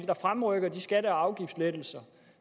der fremrykker de skatte og afgiftslettelser